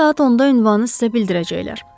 Səhər saat 10-da ünvanı sizə bildirəcəklər.